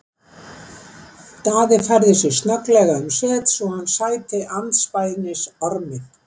Daði færði sig snögglega um set svo hann sæti andspænis Ormi.